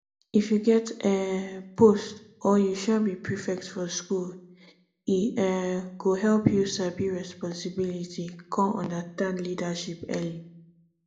if u get um post or u um be prefect for school e um go help you sabi responsibility come understand leadership early